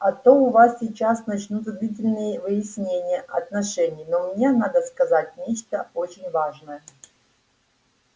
а то у вас сейчас начнутся длительные выяснения отношений но мне надо сказать нечто очень важное